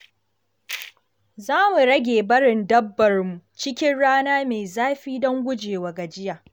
Za mu rage barin dabbarmu cikin rana mai zafi don gujewa gajiya.